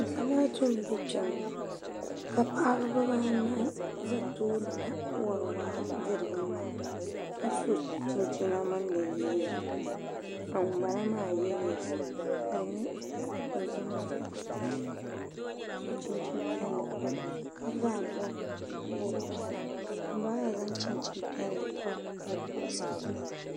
Zamaatu m-be kpe ŋɔ ka paɣiba anahi za tooni na wari waa diri bi maŋa ka so chinchina mini di liiga ka ŋun bala maa ye leesi ka di nyɛ zaɣ' dɔzim mini zaɣ' piɛlli ka so chinchin' piɛlli m-pa di zuɣu ka bɛ zaa bɔbi bɔb' piɛla ka ŋun bala maa zaŋ chinchin' piɛlli pa o bɔɣisapima zuɣu